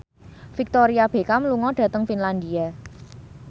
Victoria Beckham lunga dhateng Finlandia